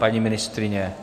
Paní ministryně?